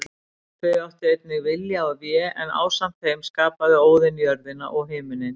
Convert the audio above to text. Þau áttu einnig Vilja og Vé en ásamt þeim skapaði Óðinn jörðina og himininn.